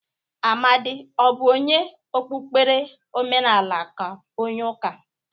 Amadị ọ bụ onye okpukpere omenala ka onye ụka?